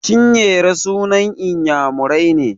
Chinyere sunan Inyamurai ne.